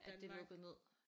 At det lukkede ned